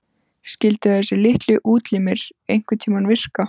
Skyldu þessir litlu útlimir einhverntíma virka?